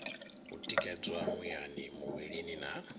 u tikedzwa muyani muvhilini na